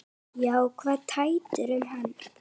Því kvað Teitur um hana